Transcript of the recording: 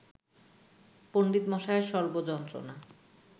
পণ্ডিতমশায়ের সর্ব যন্ত্রণা